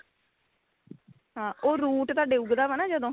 ਹਾਂ ਉਹ root ਤੁਹਾਡੇ ਉੱਗਦਾ ਵਾ ਨਾ ਜਦੋਂ